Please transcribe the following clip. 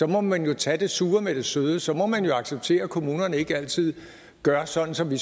må man jo tage det sure med det søde så må man jo acceptere at kommunerne ikke altid gør sådan som vi